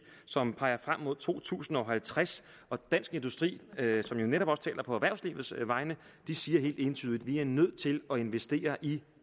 som peger frem mod to tusind og halvtreds og dansk industri som jo netop taler på erhvervslivets vegne siger helt entydigt at vi er nødt til at investere i